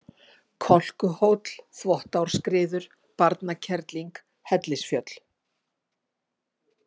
Kolkuhóll, Þvottáskriður, Barnakerling, Hellisfjöll